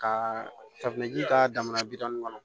Ka safinɛji ta jamana bidamu kɔnɔ